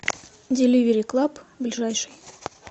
деливери клаб ближайший